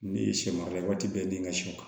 Ne ye sɛ mara waati bɛɛ ne ka sɛ